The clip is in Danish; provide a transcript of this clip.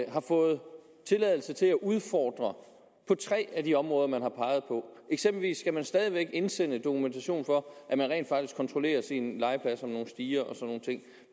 og har fået tilladelse til at udfordre på tre af de områder man har peget på eksempelvis skal man stadig væk indsende dokumentation for at man rent faktisk kontrollerer sine legepladser nogle stiger